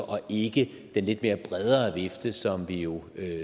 og ikke den lidt mere brede vifte som vi jo